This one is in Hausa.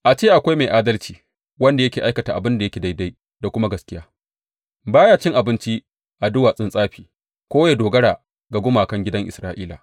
A ce akwai mai adalci wanda yake aikata abin da yake daidai da kuma gaskiya; ba ya cin abinci a duwatsun tsafi ko ya dogara ga gumakan gidan Isra’ila.